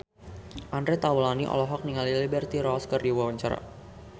Andre Taulany olohok ningali Liberty Ross keur diwawancara